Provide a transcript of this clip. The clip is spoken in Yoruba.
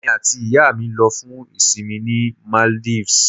Èmi àti ìyá mi lọ fún ìsìnmi ní Maldives